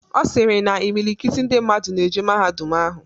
Ọ sịrị na imilikiti ndị mmadụ na-eje mahadum ahụ.